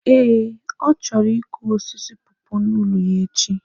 Eh, ọ chọrọ ịkụ osisi pọọpọọ n'ụlọ ya echi.